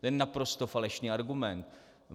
To je naprosto falešný argument.